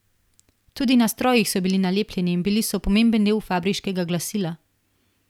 Tudi na strojih so bili nalepljeni in bili so pomemben del fabriškega glasila.